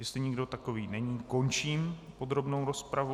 Jestli nikdo takový není, končím podrobnou rozpravu.